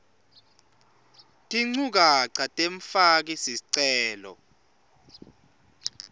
tinchukaca temfaki sicelo